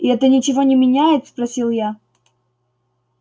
и это ничего не меняет спросил я